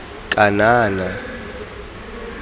kanana